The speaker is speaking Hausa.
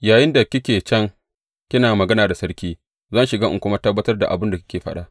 Yayinda kike can kina magana da sarki, zan shiga in kuma tabbatar da abin da kika faɗa.